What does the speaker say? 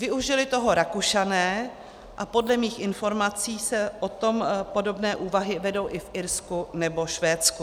Využili toho Rakušané a podle mých informací se o tom podobné úvahy vedou i v Irsku nebo Švédsku.